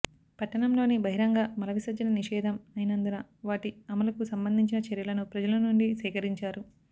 పట్టణంలోని బహిరంగ మల విసర్జన నిషేదం అయినందున వాటి అమలుకు సంబంధించిన చర్యలను ప్రజల నుండి సేకరించారు